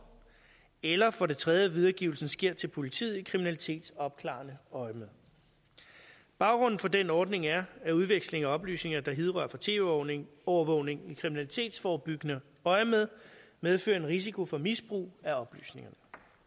eller for det tredje hvis videregivelsen sker til politiet i kriminalitetsopklarende øjemed baggrunden for den ordning er at udveksling af oplysninger der hidrører fra tv overvågning overvågning i kriminalitetsforebyggende øjemed medfører en risiko for misbrug af oplysningerne